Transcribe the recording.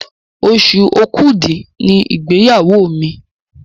Oṣù Òkúdu ní igbeyawo mí.